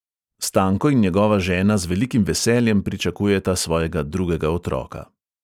Stanko in njegova žena z velikim veseljem pričakujeta svojega drugega otroka.